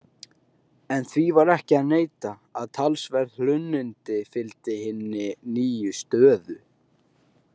En því var ekki að neita að talsverð hlunnindi fylgdu hinni nýju stöðu.